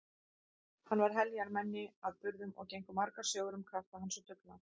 Hann var heljarmenni að burðum og gengu margar sögur um krafta hans og dugnað.